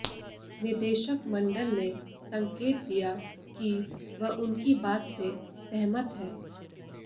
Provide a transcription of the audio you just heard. निदेशक मंडल ने संकेत दिया कि वह उनकी बात से सहमत है